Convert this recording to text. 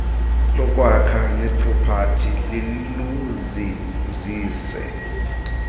lokwakha neepropati liluzinzise